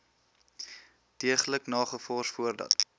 deeglik nagevors voordat